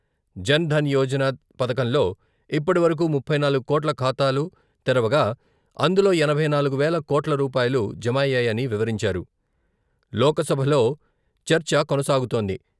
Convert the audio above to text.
జన్ ధన్ యోజన పథకంలో ఇప్పటివరకు ముప్పై నాలుగు కోట్ల ఖాతాలు తెరవగా అందులో ఎనభై నాలుగు వేల కోట్ల రూపాయలు జమ అయ్యాయని వివరించారు లోక్సభలో చర్చ కొనసాగుతోంది.